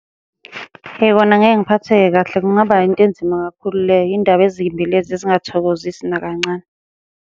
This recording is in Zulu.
Eyi, kona ngeke ngiphatheke kahle kungaba into enzima kakhulu leyo, iy'ndaba ezimbi lezi ezingathokozisi nakancane.